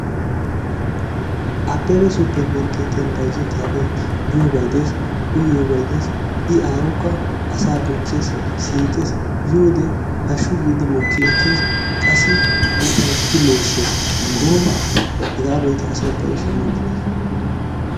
Abebe supermarketiyaan bayzzetiyaabay miyoobay des uyiyoobay des i aawukka asaa siiqees bonchchees yiyoode haashshu giidi mookki ekkees. qassi ufayssidi mooyissees. Gooba asa hegaa be'ite asay ubbay shaammidi de'ees.